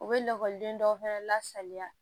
U bɛ lakɔliden dɔw fɛnɛ lasaliya